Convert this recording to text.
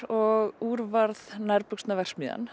og úr varð